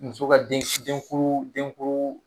Muso ka den denkuru denkuru